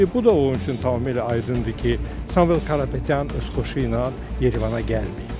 İndi bu da onun üçün tamamilə aydındır ki, Samuel Karapetyan öz xoşu ilə Yerevana gəlməyib.